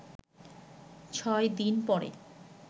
ছয় দিন পর